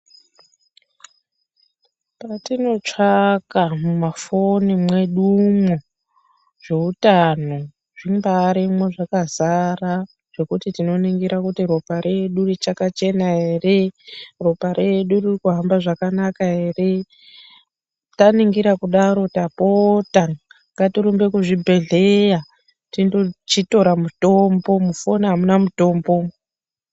Patinotsvaka mumafoni mwedumwo zveutano zvimbaarimwo zvakazara zvokuti tinoningira kuti ropa redu richakachena ere ropa redu ririkuhamba zvakanaka ere, taningira kudaro tapota ngatirumbe kuzvibhedhleya tindochitora mutombo mufoni amuna mutombo umu.